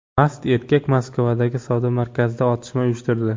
Mast erkak Moskvadagi savdo markazida otishma uyushtirdi.